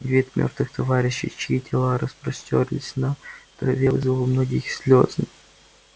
вид мёртвых товарищей чьи тела распростёрлись на траве вызвал у многих слезы